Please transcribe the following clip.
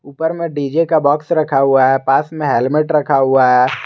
उपर में डी_जे का बॉक्स रखा हुआ है पास में हेल्मेट रखा हुआ है।